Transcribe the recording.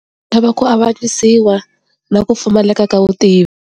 Lava ku avanyisiwa na ku pfumaleka ka vutivi.